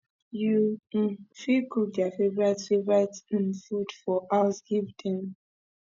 you um fit cook their favourite favourite um food for house give them